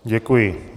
Děkuji.